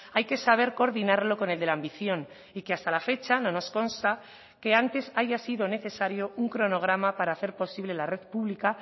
hay que saber coordinarlo con el de la ambición y que hasta la fecha no nos consta que antes haya sido necesario un cronograma para hacer posible la red pública